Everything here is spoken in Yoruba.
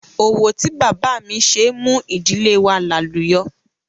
Òwò tí bàbá mi ṣe mú ìdílé wa làlùyọ̀